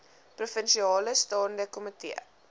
provinsiale staande komitee